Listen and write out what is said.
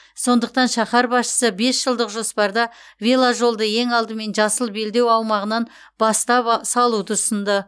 сондықтан шаһар басшысы бес жылдық жоспарда веложолды ең алдымен жасыл белдеу аумағынан бастап ба салуды ұсынды